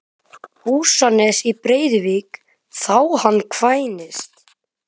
Húsanes í Breiðuvík þá hann kvæntist.